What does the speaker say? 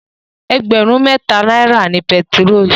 Ẹgbẹ̀rún mẹ́ta náírà ni pẹtirólù.